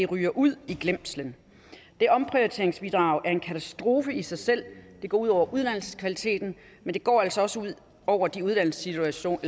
ryger ud i glemslen det omprioriteringsbidrag er en katastrofe i sig selv det går ud over uddannelseskvaliteten men det går altså også ud over de uddannelsesinstitutioner